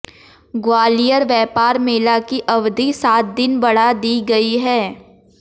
ग्वालियर व्यापार मेला की अवधि सात दिन बढ़ा दी गई है